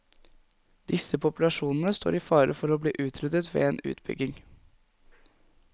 Disse populasjonene står i fare for å bli utryddet ved en utbygging.